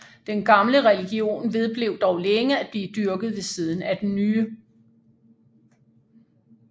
Den gamle religion vedblev dog længe at blive dyrket ved siden af den nye